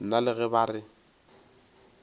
nna le ge ba re